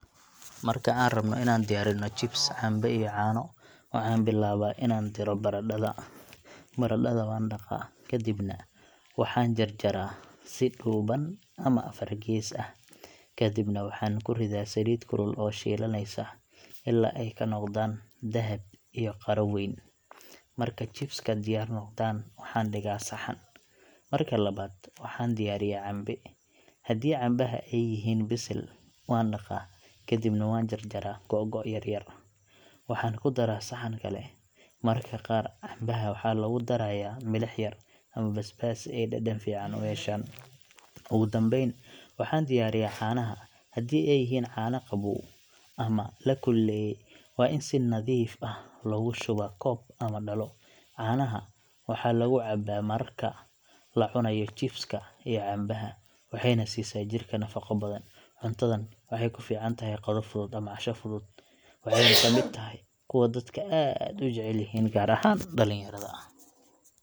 Marka aan rabno inaan diyaarinno chips, cambe iyo caano, waxaan bilaabaa inaan diro baradhada. Baradhada waan dhaqaa, kadibna waxaan jarjaraa si dhuuban ama afar gees ah. Kadibna waxaan ku riddaa saliid kulul oo shiilanaysa, ilaa ay ka noqdaan dahab iyo qaro weyn. Marka chips-ka diyaar noqdaan, waxaan dhigaa saxan. Marka labaad, waxaan diyaariyaa cambe. Haddii cambaha ay bisil yihiin, waan dhaqaa, kadibna waan jarjaraa googo’ yar yar, waxaan ku daraa saxan kale. Mararka qaar, cambaha waxaa lagu darayaa milix yar ama basbaas si ay dhadhan fiican u yeeshaan. Ugu dambeyn, waxaan diyaariyaa caanaha. Haddii ay yihiin caano qabow ama la kululeeyay, waa in si nadiif ah loogu shubaa koob ama dhalo. Caanaha waxaa lagu cabbaa marka la cunayo chips-ka iyo cambaha, waxayna siisaa jirka nafaqo badan. Cuntadan waxay ku fiican tahay qado fudud ama casho fudud, waxayna ka mid tahay kuwa dadka aad u jecel yihiin, gaar ahaan dhalinyada.